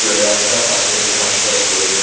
রাস্তা পাশে ঘাস ফাস রয়েছে।